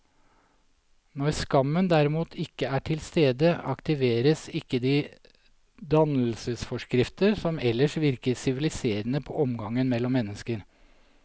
Når skammen derimot ikke er til stede, aktiveres ikke de dannelsesforskrifter som ellers virker siviliserende på omgangen mellom mennesker.